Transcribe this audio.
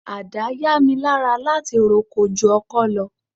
Ada yá mi lára láti roko ju ọkọ lọ.